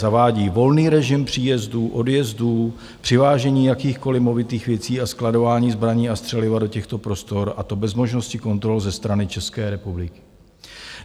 Zavádí volný režim příjezdů, odjezdů, přivážení jakýchkoliv movitých věcí a skladování zbraní a střeliva do těchto prostor, a to bez možnosti kontrol ze strany České republiky.